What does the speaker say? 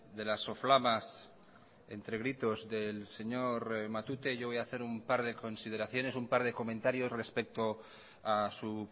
de las soflamas entre gritos del señor matute yo voy a hacer un par de consideraciones un par de comentarios respecto a su